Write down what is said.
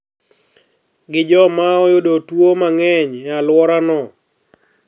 Gi joma oyudo tuo mang`eny e alworano